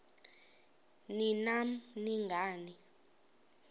ni nam nangani